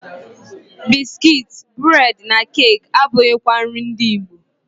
Biskit, bụredị na keki abụghịkwa nri ndị Igbo.